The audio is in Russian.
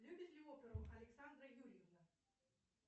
любит ли оперу александра юрьевна